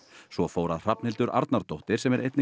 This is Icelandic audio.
svo fór að Hrafnhildur Arnardóttir sem er einnig